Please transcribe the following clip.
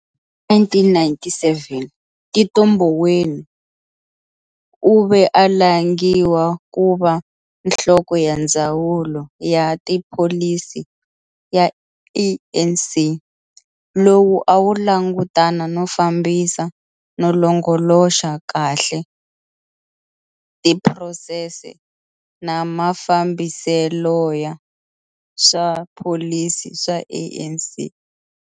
Hi 1997 Tito Mboweni u ve a langiwa ku va nhloko ya Ndzawulo ya ta Pholisi ya ANC lowu a wu langutana no fambisa no longoloxa kahle tiprosese na mafambiseloya swa pholisi swa ANC.